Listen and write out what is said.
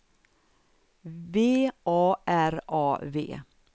V A R A V